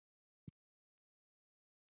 Missir Auðar var mikill.